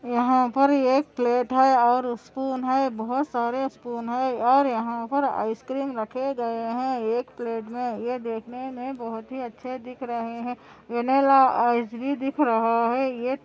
यहाँ पर एक प्लेट है और स्पून है बहुत सारे स्पून है और यहाँ पर आइस क्रीम रखे गए है एक प्लेट में ये देखने मै बहुत अच्छे दिख रहे है वेनिला आइस भी दिखा रहा है ये --